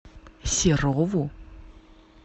серову